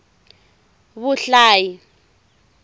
vuhlayi